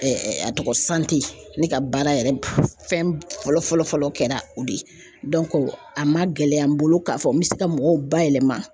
a tɔgɔ ne ka baara yɛrɛ fɛn fɔlɔ fɔlɔ fɔlɔ kɛra o de ye a man gɛlɛya n bolo k'a fɔ n bɛ se ka mɔgɔw ba yɛlɛma